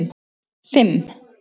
fimm